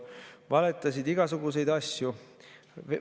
Valetasid igasuguseid asju.